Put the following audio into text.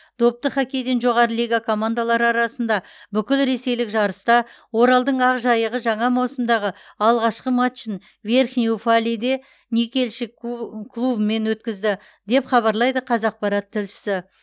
допты хоккейден жоғары лига командалары арасында бүкілресейлік жарыста оралдың ақжайығы жаңа маусымдағы алғашқы матчын верхний уфалейде никельщик клубымен өткізді деп хабарлайды қазақпарат тілшісі